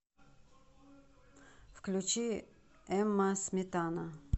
включи эмма сметана